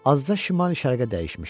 azca şimal-şərqə dəyişmişdi.